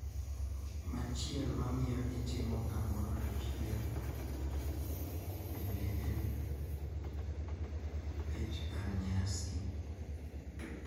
Machiel mamiyo itimo kamoro achiel bende en bech kar nyasi.